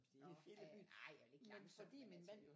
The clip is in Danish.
Nåh ja nej jeg er ikke langsom men altså